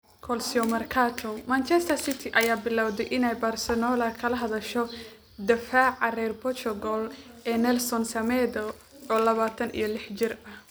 (Calciomercato) Manchester City ayaa bilowday inay Barcelona kala hadasho daafaca reer Portugal ee Nelson Semedo, oo labatan iyo lix jir ah.